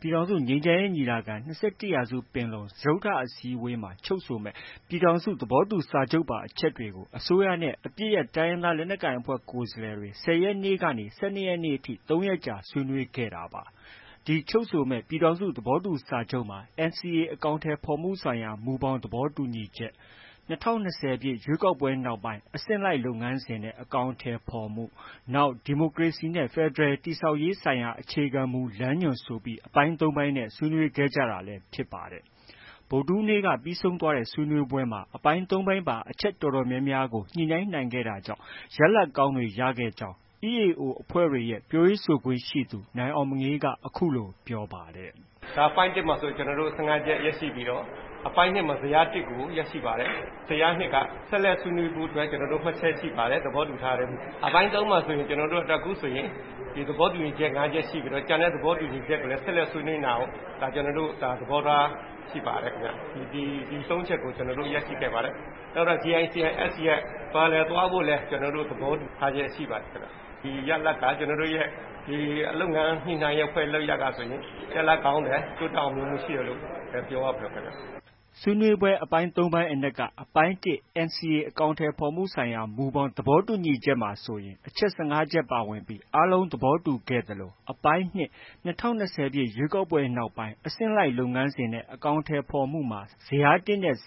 ပြည်ထောင်စုငြိမ်းချမ်းရေးညီလာခံ- ၂၁ရာစုပင်လုံ စတုတ္ထအစည်းအဝေးမှာ ချုပ်ဆိုမယ့် ပြည်ထောင်စု သဘောတူစာချုပ်ပါ အချက်တွေကို အစိုးရနဲ့ အပစ်ရပ်တိုင်းရင်းသားလက်နက်ကိုင်အဖွဲ့ ကိုယ်စားလှယ်တွေ ၁၀ရက်နေ့ကနေ ၁၂ရက်နေ့ထိ ၃ရက်ကြာဆွေးနွေးခဲ့တာပါ။ ချုပ်ဆိုမယ့် ပြည်ထောင်စုသဘောတူစာချုပ်မှာ NCA အကောင်အထည်ဖော်မှုဆိုင်ရာ မူဘောင် သဘောတူညီချက်၊ ၂၀၂၀ ပြည့် ရွေးကောက်ပွဲနောက်ပိုင်း အဆင့်လိုက် လုပ်ငန်းစဉ်နဲ့ အကောင်အထည်ဖော်မှု၊ နောက် ဒီမိုကရေစီနဲ့ ဖက်ဒရယ် တည်ဆောက်ရေးဆိုင်ရာ အခြေခံမူလမ်းညွှန် ဆိုပြီး အပိုင်း ၃ ခုနဲ့ဆွေးနွေးခဲ့ကြတာလည်း ဖြစ်ပါတယ်။ ဗုဒ္ဓဟူးနေ့က ပြီးဆုံးသွားတဲ့ ဆွေးနွေးပွဲမှာ အပိုင်း ၃ပိုင်းပါ အချက် အတော်များများကို ညှိနှိုင်းနိုင်ခဲ့တာကြောင့် ရလဒ်ကောင်းတွေ ရခဲ့ကြောင်း EAO အဖွဲ့တွေရဲ့ ပြောရေးဆိုခွင့်ရှိသူ နိုင်အောင်မငေးက အခုလိုပြောပါတယ်။ “ အပိုင်း ၁မှာဆို ကျနော်တို့ ၁၅ချက်ရရှိပြီးတော့၊ အပိုင်း ၂မှာ ဇယား ၁ကို ရရှိပါတယ်။ ဇယား ၂ က ဆက်လက်ဆွေးနွေးဖို့ မှတ်ချက်ရှိပါတယ်။ သဘောတူထားတယ်။ အပိုင်း ၃မှာဆို ကျနော်တို့ အခုဆိုရင် သဘောတူညီချက် ၅ချက်ရှိပြီးတော့ ကျန်တဲ့ သဘောတူညီချက်ကိုလည်း ဆက်လက် ဆွေးနွေးနိုင်အောင် သဘောထားရှိပါတယ်ခင်ဗျ။ ဒီ ၃ချက်ကို ကျနော်တို့ ရရှိခဲ့ပါတယ်။ နောက်ထပ် JICM-S ရဲ့ Parallel သွားဖို့လည်း ကျနော်တို့ သဘောတူထားချက်ရှိပါတယ်ခင်ဗျ။ ဒီရလဒ်က ကျနော်တို့ရဲ့ လုပ်ငန်းညှိနှိုင်းရေး လုပ်ရပ်ဟာဆိုရင် ရလဒ်ကောင်းတယ် တိုးတက် အောင်မြင်မှုရှိတယ်လို့ ပြောရပါမယ်ခင်ဗျ။ ” ဆွေးနွေးတဲ့ အပိုင်း ၃ပိုင်းအနက်က အပိုင်း ၁ NCA အကောင်အထည်ဖော်မှုဆိုင်ရာ မူဘောင်သဘောတူညီချက်မှာဆိုရင် အချက် ၁၅ချက်ပါဝင်ပြီး အားလုံးသဘောတူညီခဲ့သလို အပိုင်း၂ - ၂၀၂၀ ပြည့် ရွေးကောက်ပွဲနောက်ပိုင်း အဆင့်လိုက်လုပ်ငန်းစဉ်နဲ့ အကောင်အထည်ဖော်မှုမှာ ဇယား ၁နဲ့ ၂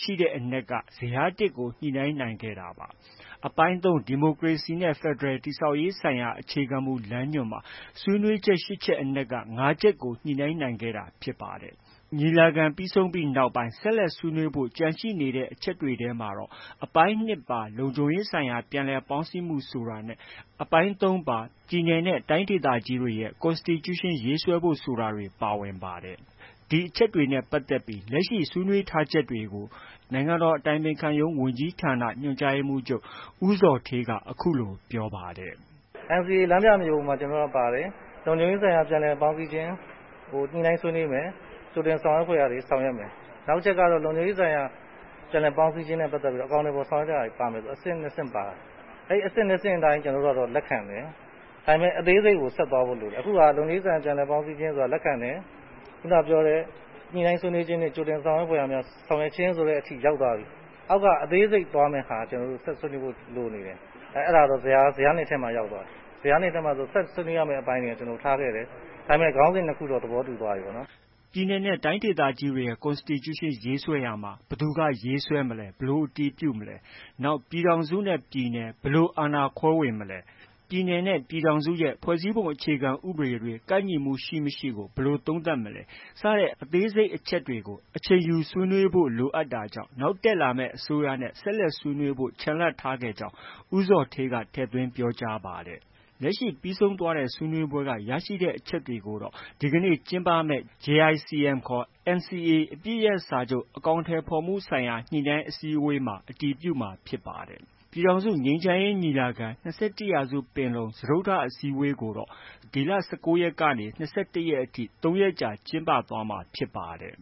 ရှိတဲ့အနက် ဇယား၁ကို ညှိနှိုင်းနိုင်ခဲ့တာပါ။ အပိုင်း၃ ဒီမိုကရေစီနဲ့ ဖက်ဒရယ် တည်ဆောက်ရေးဆိုင်ရာ အခြေခံမူလမ်းညွှန်မှာ ဆွေးနွေးချက် ၈ချက်အနက်က ၅ချက်ကို ညှိနှိုင်းနိုင်ခဲ့တာဖြစ်ပါတယ်။ ညီလာခံနောက်ပိုင်း ဆက်လက် ဆွေးနွေးဖို့ ကျန်ရှိနေတဲ့အချက်တွေထဲမှာတော့ အပိုင်း၂ ပါ လုံခြုံရေးဆိုင်ရာ ပြန်လည်ပေါင်းစည်းရေးဆိုတာနဲ့ အပိုင်း ၃ ပါ ပြည်နယ်နဲ့တိုင်းဒေသကြီးတွေရဲ့ Constitution ရေးဆွဲဖို့ ဆိုတာတွေ ပါဝင်ပါတယ်။ ဒီအချက်တွေနဲ့ပတ်သက်ပြီး လက်ရှိ ဆွေးနွေးထားချက်တွေကို နိုင်ငံတော်အတိုင်ပင်ခံရုံးဝန်ကြီးဌာန ညွှန်ကြားရေးမှုးချုပ် ဦးဇော်ဌေးက အခုလို ပြောဆိုပါတယ်။ “NCA လမ်းပြမြေပုံထဲမှာ ပါတယ်။ လုံခြုံရေးဆိုင်ရာ ပြန်လည်ပေါင်းစည်းခြင်း ကို ညှိနှိုင်းဆွေးနွေးမယ်။ ကြိုတင်ဆောင်ရွက်ဖွယ်ရာတွေ ဆောင်ရွက်မယ်။ နောက် အချက်ကတော့ လုံခြုံရေးဆိုင်ရာ ပြန်လည်ပေါင်းစည်းခြင်းနဲ့ပတ်သက်ပြီး အကောင်အထည်ဖော်ဆောင်ရွက်တဲ့ ဟာတွေ ပါမယ်ဆို အဆင့် ၂ဆင့်ပါတယ်။ အဲဒီ အဆင့်၂ဆင့်အတိုင်း ကျနော်တို့က လက်ခံတယ်။ ဒါပေမဲ့ အသေးစိတ်ကို ဆက်သွားဖို့ လိုတယ်။ အခုဟာက လုံခြုံရေးဆိုင်ရာ ပြန်လည်ပေါင်းစည်းခြင်း ဆိုတာ လက်ခံတယ်။ ခုနက ပြောတဲ့ ညှိနှိုင်းဆွေးနွေးခြင်းနဲ့ ကြိုတင်ဆောင်ရွက်ဖွယ်ရာများ ဆောင်ရွက်ခြင်းဆိုတဲ့ အဆင့်ထိ ရောက်သွားပြီ။ အောက် က အသေးစိတ်သွားမယ့်ဟာ ကျနော်တို့ ဆက်ဆွေးနွေးဖို့ လိုနေတယ်။ အဲဒါတော့ ဇယား ၂ထဲမှာ ရောက်သွားပြီ။ ဇယား ၂ထဲမှာ ဆက်ဆွေးနွေးရမယ့် အပိုင်းတွေက ထားခဲ့တယ်။ ဒါပေမဲ့ ခေါင်းစဉ် ၂ခုတော့ သဘောတူသွားပြီပေါ့။ ” ပြည်နယ်နဲ့ တိုင်းဒေသကြီးတွေရဲ့ Constitution ရေးဆွဲရေးမှာ ဘယ်သူက ရေးမလဲ၊ ဘယ်လိုအတည်ပြုမလဲ၊ နောက် ပြည်ထောင်စုနဲ့ ပြည်နယ် ဘယ်လို အာဏာခွဲဝေမလဲ၊ ပြည်နယ်နဲ့ ပြည်ထောင်စု ဖွဲ့စည်းပုံအခြေခံဥပဒေတွေ ကိုက်ညီမှုရှိ၊ မရှိကို ဘယ်လို သုံးသပ်မလဲ စတဲ့ အသေးစိတ်အချက်တွေကို အချိန်ယူဆွေးနွေးဖို့ လိုအပ်နေတာကြောင့် နောက်တက်လာမယ့် အစိုးရနဲ့ ဆက်လက် ဆွေးနွေးဖို့ ချန်လှပ်ထားခဲ့ကြောင်း ဦးဇော်ဌေးက ထည့်သွင်း ပြောကြားပါတယ်။ လက်ရှိ ပြီးဆုံးသွားတဲ့ ဆွေးနွေးပွဲက ရရှိတဲ့အချက်တွေကိုတော့ ဒီနေ့ ကျင်းပမယ့် JICM ခေါ် NCA အပစ်ရပ်စာချုပ် အကောင်အထည်ဖေါ်မှုဆိုင်ရာ ညှိနှိုင်းအစည်းအဝေးမှာ အတည်ပြုမှာဖြစ်ပါတယ်။ ပြည်ထောင်စုငြိမ်းချမ်းရေးညီလာခံ- ၂၁ရာစုပင်လုံစတုတ္ထအစည်းအဝေးကိုတော့ ဒီလ ၁၉ရက်ကနေ ၂၁ရက်ထိ ၃ရက်ကြာကျင်းပသွားမှာ ဖြစ်ပါတယ်